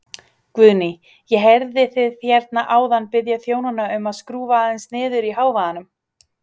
Guðný: Ég heyrði þið hérna áðan biðja þjónana um að skrúfa aðeins niður í hávaðanum?